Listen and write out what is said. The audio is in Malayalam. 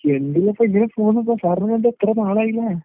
എന്തര്പ്പെ ഇങ്ങനെ പോകുന്നു സാർ. സാറിനെ കണ്ടിട്ടെത്ര നാളായിലേ?